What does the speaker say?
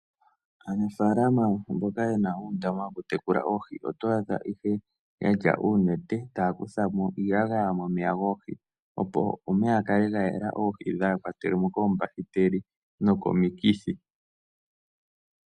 Aanafaalama mboka yena uundama wokutekula oohi, oto adha yena uunete taya kutha mo iiyagaya opo omeya ga kale ga yela oohi, kaadhi kwatelwe mo koombahiteli nokomikithi.